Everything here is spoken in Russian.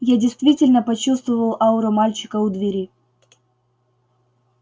я действительно почувствовал ауру мальчика у двери